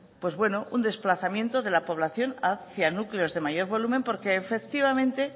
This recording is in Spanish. pues bueno un desplazamiento de la poblacion hacía núcleos de mayor volumen porque efectivamente